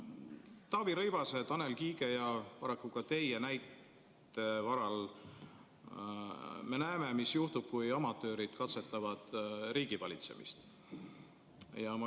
Taavi Rõivase, Tanel Kiige ja paraku ka teie näite varal me näeme, mis juhtub siis, kui amatöörid katsetavad riigivalitsemist.